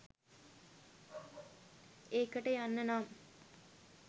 ඒකට යන්න නම්